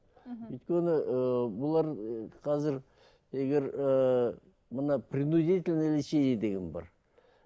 мхм өйткені ыыы бұлар ы қазір егер ыыы мына принудительный лечение деген бар